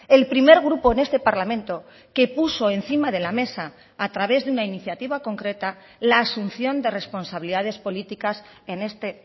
el primer grupo en este parlamento que puso encima de la mesa a través de una iniciativa concreta la asunción de responsabilidades políticas en este